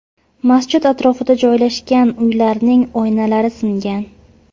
Masjid atrofida joylashgan uylarning oynalari singan.